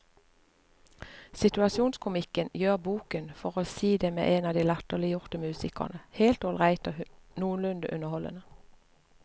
Situasjonskomikken gjør boken, for å si det med en av de latterliggjorte musikerne, helt ålreit og noenlunde underholdende.